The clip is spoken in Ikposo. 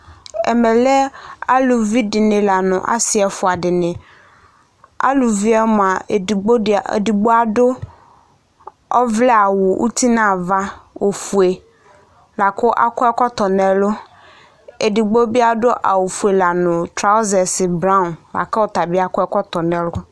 Ɛmɛ lɛ, aluvi dɩnɩ la nʋ ɔsɩ ɛfʋa dɩnɩ, aluvi yɛ mʋa, edigbo adʋ ɔvlɛ awʋ uti nʋ ava ofue, la kʋ akɔ ɛkɔtɔ nʋ ɛlʋ, edigbo bɩ adʋ awʋ fue nʋ traɔzɛs blɔ, la kʋ ɔta bɩ akɔ ɛkɔtɔ nʋ ɛlʋ